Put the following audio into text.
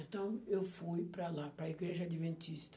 Então eu fui para lá, para a Igreja Adventista.